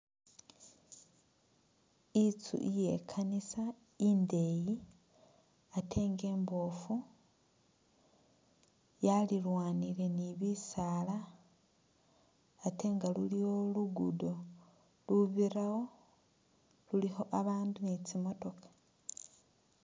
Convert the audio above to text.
Itsu iye kanisa indeyi ate nga imbofu yalilwanile ni bisala ate nga luliwo lugudo lubirawo lulikho babandu ni tsi’motoka.